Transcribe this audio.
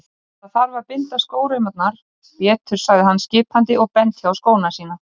Sem betur fer leið Arnari vel annars hefði ég ekki komið